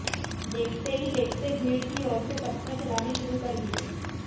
देखते ही देखते भीड़ की ओर से पत्थर चलाने शुरू कर दिए